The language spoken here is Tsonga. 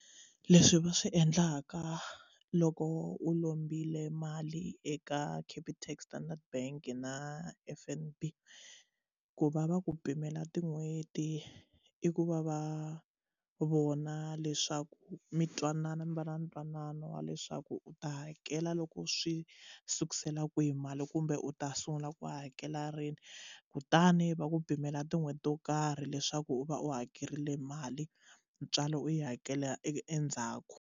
Leswi va swi endlaka loko u lombile mali eka Capitec, Standard Bank na F_N_B ku va va ku pimela tin'hweti i ku va va vona leswaku mi twanana mi va na ntwanano wa leswaku u ta hakela loko swi sukusela kwihi mali kumbe u ta sungula ku hakela rini kutani va ku pimela tin'hweti to karhi leswaku u va u hakerile mali ntswalo u yi hakela endzhaku.